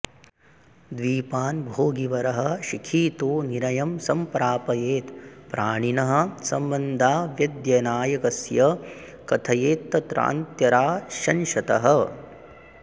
द्वीपान् भोगिवरः शिखी तु निरयं सम्प्रापयेत् प्राणिनः सम्बन्धाव्द्ययनायकस्य कथयेत्तत्रान्त्यराश्यंशतः